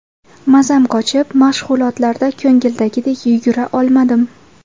Mazam qochib, mashg‘ulotlarda ko‘ngildagidek yugura olmadim.